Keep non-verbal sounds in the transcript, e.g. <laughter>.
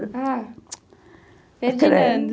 Ah, <noise> Ferdinando.